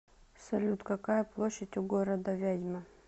салют какая площадь у города вязьма